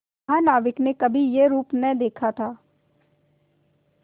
महानाविक ने कभी यह रूप न देखा था